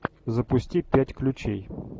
запусти пять ключей